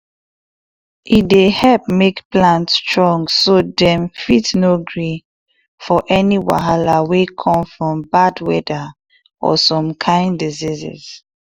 e dey help make plant strong so dem fit gree for any wahala or some kind diseases